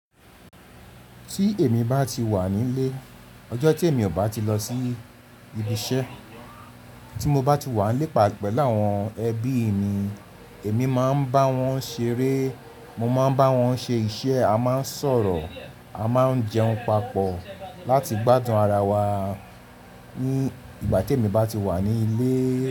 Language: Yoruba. Tí èmi bá ti wà nílé, ọjọ́ tí èmi ò bá ti lọ sí ibi iṣẹ́, tí mo bá ti wà nílé, pelu láwọn ẹbí mi, èmi máa ń bá wọn ṣeré, mo máa ń bá wọn ṣe iṣẹ́, a máa ń sọ̀rọ̀, a máa ń jẹun papọ̀ láti gbádùn ara wa ní ìgbà tí èmi bá ti wà ní ilé.